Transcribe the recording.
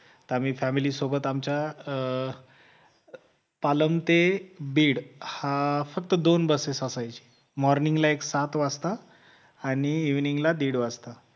आम्ही family सोबत आमच्या अं पालम ते बीड हा फक्त दोन busses असायची morning ला एक सात वाजता आणि evening ला दीड वाजता